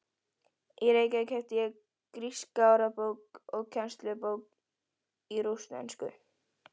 Í Reykjavík keypti ég gríska orðabók og kennslubók í rússnesku.